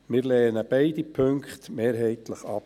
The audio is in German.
Wir lehnen beide Punkte mehrheitlich ab.